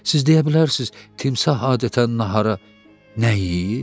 Siz deyə bilərsiz timsah adətən nahara nə yeyir?